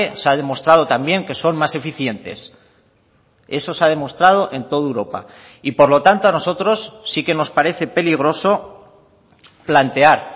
se ha demostrado también que son más eficientes eso se ha demostrado en toda europa y por lo tanto a nosotros sí que nos parece peligroso plantear